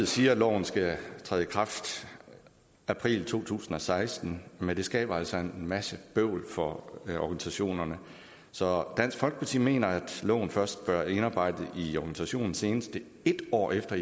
siger at loven skal træde i kraft i april to tusind og seksten men det skaber altså en masse bøvl for organisationerne så dansk folkeparti mener at loven først bør indarbejdes i organisationen senest en år efter